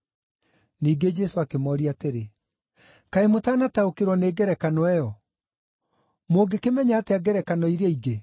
Ningĩ Jesũ akĩmooria atĩrĩ, “Kaĩ mũtanataũkĩrwo nĩ ngerekano ĩyo? Mũngĩkĩmenya atĩa ngerekano iria ingĩ?